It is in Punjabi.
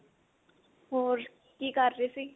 ਹੋਰ ਕੀ ਕਰ ਰਹੇ ਸੀ